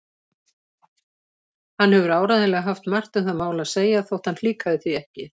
Hann hefur áreiðanlega haft margt um það mál að segja þótt hann flíkaði því ekki.